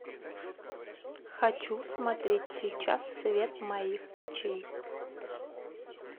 хочу смотреть сейчас свет моих очей